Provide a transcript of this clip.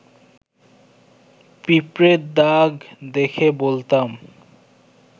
পিঁপড়ের দাগ দেখে বলতাম